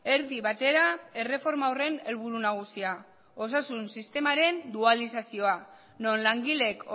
erdi batera erreforma horren helburu nagusia osasun sistemaren dualizazioa non langileek